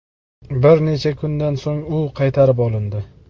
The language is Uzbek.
Bir necha kundan so‘ng u qaytarib olindi.